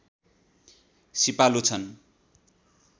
सिपालु छन्